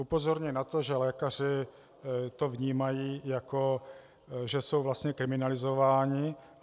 Upozorňuji na to, že lékaři to vnímají, jako že jsou vlastně kriminalizováni.